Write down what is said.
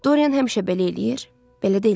Doryan həmişə belə eləyir, belə də eləyəcək.